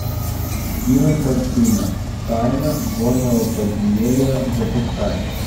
кинокартина тайна горного подземелья запускай